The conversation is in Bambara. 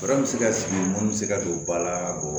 Fura bɛ se ka sigi mun bɛ se ka don ba la o